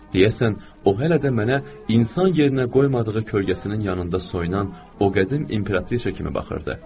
Deyəsən, o hələ də mənə insan yerinə qoymadığı kölgəsinin yanında soyunan o qədim imperatrisa kimi baxırdı.